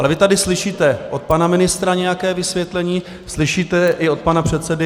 Ale vy tady slyšíte od pana ministra nějaké vysvětlení, slyšíte i od pana předsedy